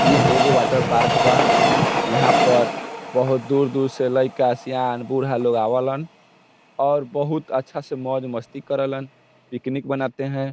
ये एक water park बा यहाँ पर बहुत दूर-दूर से लेइका शियान बूढ़ा लोग आव लन और बहुत अच्छा से मौज-मस्ती करलन और पिकनिक मनाते हैं।